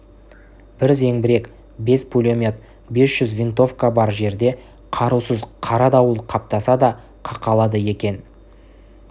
бір зеңбірек бес пулемет бес жүз винтовка бар жерде қарусыз қара дауыл қаптаса да қақалады екен